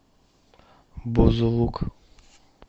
бузулук